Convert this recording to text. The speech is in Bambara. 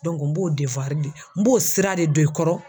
n b'o de n b'o sira de don i kɔrɔ.